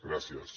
gràcies